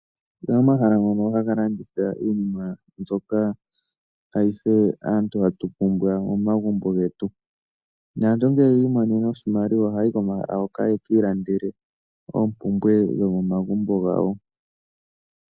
Opu na omahala ngono haga landitha iinima mbyoka ayihe aantu hatu pumbwa momagumbo getu. Naantu ngele yi imonene oshimaliwa ohaya yi komahala hoka ye ki ilandele oompumbwe dhomomagumbo gawo.